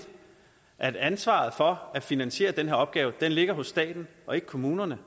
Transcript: at ansvaret for at finansiere den her opgave ligger hos staten og ikke kommunerne